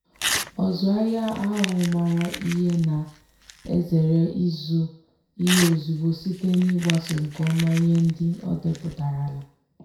ọzụahia ahụ maara ihe na-ezere ịzụ ihe ozugbo site n'igbaso nke ọma ihe ndị odepụtarala.